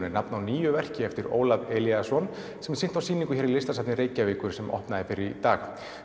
er nafn á nýju verki eftir Ólaf Elíasson sem er sýnt á sýningu hér í Listasafni Reykjavíkur sem opnaði fyrr í dag